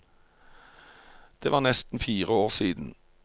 Det var nesten fire år siden.